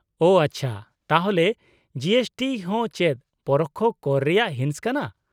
-ᱳ ᱟᱪᱪᱷᱟ ᱾ ᱛᱟᱦᱚᱞᱮ G S T ᱦᱚᱸ ᱪᱮᱫ ᱯᱚᱨᱳᱠᱠᱷᱚ ᱠᱚᱨ ᱨᱮᱭᱟᱜ ᱦᱤᱸᱥ ᱠᱟᱱᱟ ?